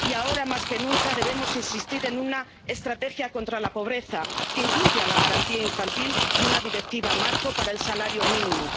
Y, ahora más que nunca, debemos insistir en una estrategia contra la pobreza, que incluya la Garantía Infantil y una Directiva marco para el salario mínimo.